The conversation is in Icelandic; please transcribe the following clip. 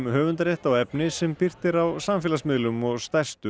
höfundarrétt á efni sem birt er á samfélagsmiðlum og stærstu